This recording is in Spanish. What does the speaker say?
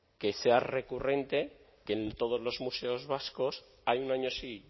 que sea recurrente que en todos los museos vascos hay un año sí